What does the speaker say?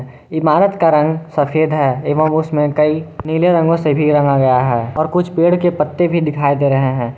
इमारत का रंग सफेद है एवं उसमें कई नीले रंगों से भी रंगा गया है और कुछ पेड़ के पत्ते भी दिखाई दे रहे हैं।